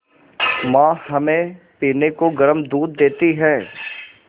माँ हमें पीने को गर्म दूध देती हैं